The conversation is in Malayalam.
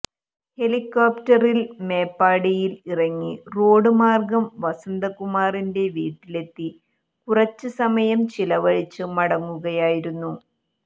ഹെലികോപ്റ്ററിൽ മേപ്പാടിയിൽ ഇറങ്ങി റോഡ് മാർഗ്ഗം വസന്തകുമാറിന്റെ വീട്ടിലെത്തി കുറച്ച്സമയം ചിലവഴിച്ച് മടങ്ങുകയായിരുന്നു